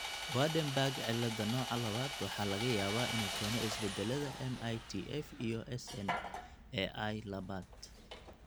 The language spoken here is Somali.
Waardenburg cilada nooca labaad waxaa laga yaabaa inuu keeno isbeddellada MITF iyo SNAI labaad.